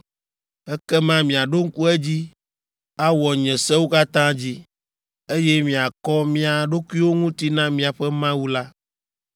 Ekema miaɖo ŋku edzi, awɔ nye sewo katã dzi, eye miakɔ mia ɖokuiwo ŋuti na miaƒe Mawu la.